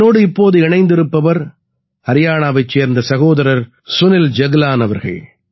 என்னோடு இப்போது இணைந்திருப்பவர் ஹரியாணாவைச் சேர்ந்த சகோதரர் சுனில் ஜக்லான் அவர்கள்